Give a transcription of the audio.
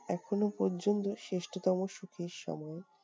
এখনো পর্যন্ত শ্রেষ্ঠতম সুখের সময়।